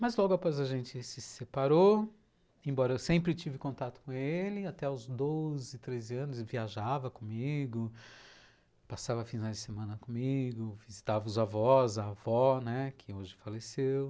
Mas logo após a gente se separou, embora eu sempre tive contato com ele, até os dez, treze anos viajava comigo, passava a final de semana comigo, visitava os avós, a avó, né, que hoje faleceu.